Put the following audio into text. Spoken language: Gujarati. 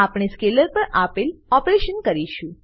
આપણે સ્કેલર પર આપેલ ઓપરેશનો શરુ કરીશું